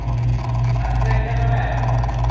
Ætlið þið að kenna meira?